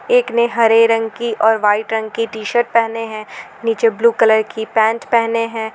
एक ने हरे रंग की और वाइट रंग की टी_शर्ट पहने हैं नीचे ब्लू कलर की पैंट पहने हैं।